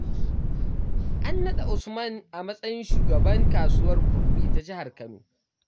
An naɗa Usman a matsayin shugaban kasuwar kurmi ta jihar kano.